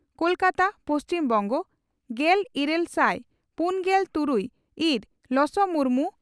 ᱠᱚᱞᱠᱟᱛᱟ ᱯᱹᱵᱹ ᱾ᱜᱮᱞ ᱤᱨᱟᱹᱞ ᱥᱟᱭ ᱯᱩᱱᱜᱮᱞ ᱛᱩᱨᱩᱭ ᱤᱨ ᱞᱚᱥᱚ ᱢᱩᱨᱢᱩ